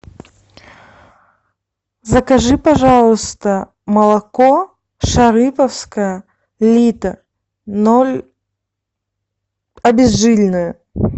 закажи пожалуйста молоко шарыповское литр ноль обезжиренное